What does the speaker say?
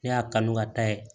Ne y'a kanu ka taa ye